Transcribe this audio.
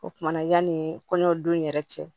O kumana yanni kɔɲɔ don yɛrɛ cɛ